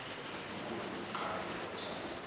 ngelikhulu igqabho lokujabula